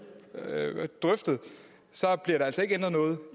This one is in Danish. drøftet så bliver der altså ikke ændret noget